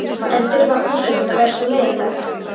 En þurfa húsverkin að vera svona leiðinleg?